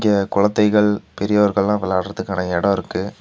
இங்க குழதைகள் பெரியவர்கல்லா விளையாடுறதுகான எடோ இருக்கு.